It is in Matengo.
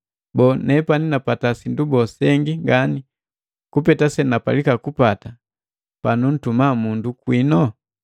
Boo, nepani napata sindu bole sengi ngani kupeta senapalika kupata panuntuma mundu kwino?